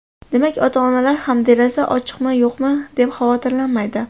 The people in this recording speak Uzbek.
Demak, ota-onalar ham deraza ochiqmi-yo‘qmi deb xavotirlanmaydi.